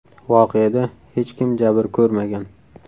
Voqeada hech kim jabr ko‘rmagan.